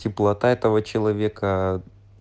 теплота этого человека